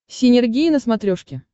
синергия на смотрешке